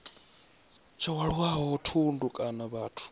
tsho hwalaho thundu kana vhathu